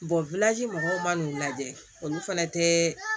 mɔgɔw man n'u lajɛ olu fana tɛ